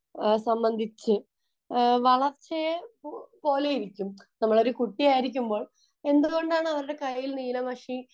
സംബന്ധിച്ചു വളർച്ചയെ പോലെയിരിക്കും കുട്ടി ആയിരിക്കുമ്പോൾ എന്ത് കൊണ്ടാണ് അവരുടെ കയ്യിൽ നീല മഷി